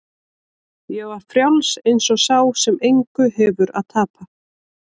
Ég var frjáls eins og sá sem engu hefur að tapa.